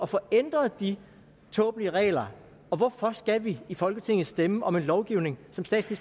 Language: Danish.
få ændret de tåbelige regler og hvorfor skal vi i folketinget stemme om en lovgivning